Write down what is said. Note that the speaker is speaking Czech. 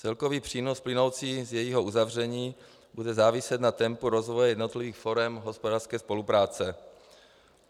Celkový přínos plynoucí z jejího uzavření bude záviset na tempu rozvoje jednotlivých forem hospodářské spolupráce.